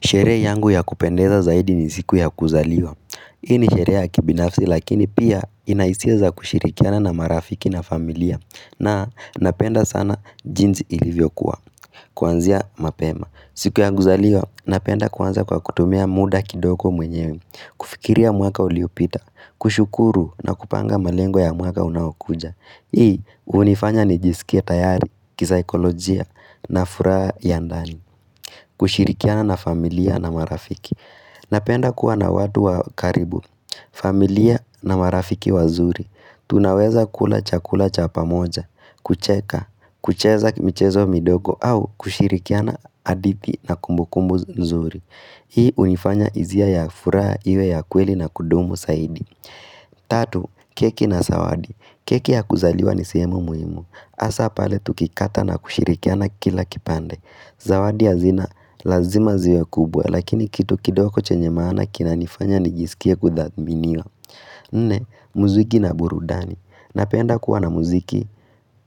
Sherehe yangu ya kupendeza zaidi ni siku ya kuzaliwa. Hii ni sherehe ya kibinafsi lakini pia ina hisi za kushirikiana na marafiki na familia. Na napenda sana jinzi ilivyokuwa. Kuanzia mapema. Siku ya kuzaliwa napenda kuanza kwa kutumia muda kidoko mwenyewe. Kufikiria mwaka uliopita. Kushukuru na kupanga malengo ya mwaka unaokuja. Hii hunifanya nijisikie tayari, kisaikolojia na furaha ya ndani. Kushirikiana na familia na marafiki Napenda kuwa na watu wa karibu familia na marafiki wazuri. Tunaweza kula chakula cha pamoja kucheka, kucheza mchezo midogo au kushirikiana hadithi na kumbukumbu nzuri Hii hunifanya hisia ya furaha iwe ya kweli na kudumu zaidi Tatu, keki na zawadi. Keki ya kuzaliwa ni sehemu muhimu hasa pale tukikata na kushirikiana kila kipande. Zawadi ya zina lazima ziwe kubwa lakini kitu kidogo chenye maana kinanifanya nijisikie kuthaminiwa. Nne, muziki na burudani. Napenda kuwa na muziki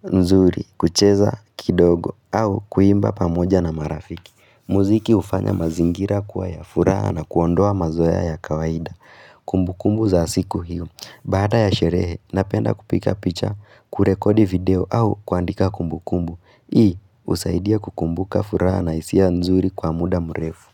nzuri, kucheza kidogo au kuimba pamoja na marafiki. Muziki hufanya mazingira kuwa ya furaha na kuondoa mazoea ya kawaida. Kumbu kumbu za siku hiyo. Baada ya sherehe, napenda kupiga picha, kurekodi video au kuandika kumbu kumbu. Hii husaidia kukumbuka furaha na hisia nzuri kwa muda mrefu.